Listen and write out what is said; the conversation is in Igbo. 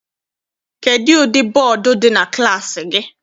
Kedụ ụdị bọdu dị na klassi gị?